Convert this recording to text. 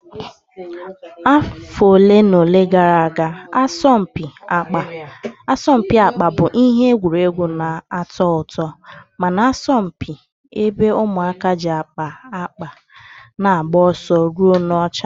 Afọ ole na ole gara aga, asọmpi akpa bụ ihe egwuregwu na-atọ ụtọ ma na-asọmpi, ebe ụmụaka ji akpa akpa na-agba ọsọ ruo n'ọcha.